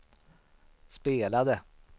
spelade